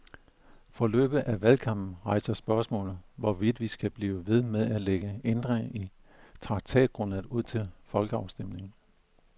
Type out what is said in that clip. Forløbet af valgkampen rejser spørgsmålet, hvorvidt vi skal blive ved med at lægge ændringer i traktatgrundlaget ud til folkeafstemning.